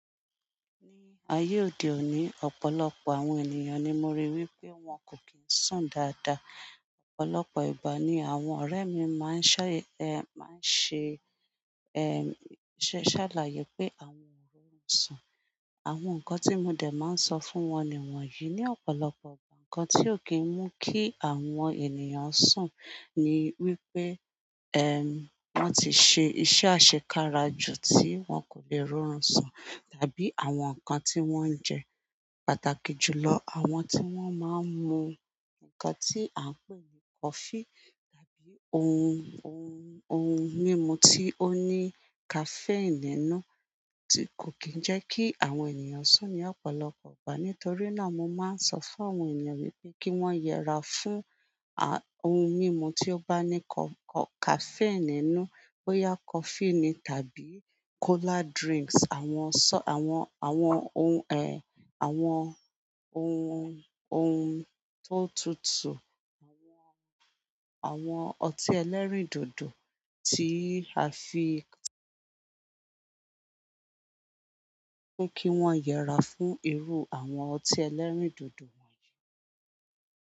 N ayé òde òní, ọ̀pọ̀lọpọ̀ àwọn ènìyàn ni mo rí wí pé wọ́n kò kín sùn dáadáa. Ọ̀pọ̀lọpọ̀ ìgbà ni àwọn ọ̀rẹ́ mi máa ń ṣé, ẹ máa ń ṣe, ẹm, ṣàlàyé pé àwọn ò rí orun sùn. Àwọn nǹkan tí mo dẹ̀ máa ń sọ fún wọn ni wọ̀nyí. Ní ọ̀pọ̀lọpọ̀ ìgbà nǹkan tí ó kí ń mú kí àwọn ènìyàn sùn ni wípé, ẹm, wọ́n ti ṣe iṣẹ́ àṣekára ju tí wọ́n kò lè rọrùn sùn, tàbí àwọn nǹkan tí wọ́n ń jẹ, pàtàkì jù lọ àwọn tí wọ́n máa ń mu. Nǹkan tí à ń pè ní coffee tàbí ohun, ohun, ohun mímu tí ó ní caffeine nínú tí kò kín ń jẹ́ kí àwọn ènìyàn sùn ní ọ̀pọ̀lọpọ̀ ìgbà. Nítorí náà mo máa ń sọ fún àwọn ènìyàn mi pé kí wọ́n yẹra fún, a, ohun mímu tí ó bá ní co-co-caffeine nínú. Bó yá coffee ni tàbí cola drinks. Àwọn, àwọn, àwọn ohun ẹ, àwọn ohun, ohun tó tutù, àwọn, àwọn ọtí ẹlẹ́rìndòdò tí a fi kí wọ́n yẹ ra fún irú àwọn ọtí ẹlẹ́rìndòdò.